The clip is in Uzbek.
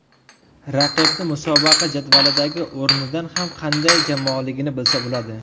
Raqibni musobaqa jadvalidagi o‘rnidan ham qanday jamoaligini bilsa bo‘ladi.